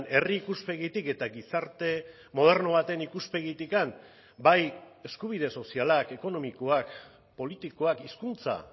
herri ikuspegitik eta gizarte moderno baten ikuspegitik bai eskubide sozialak ekonomikoak politikoak hizkuntza